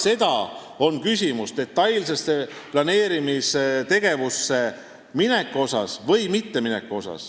Siis on küsimus, kas algab detailne planeerimistegevus või mitte.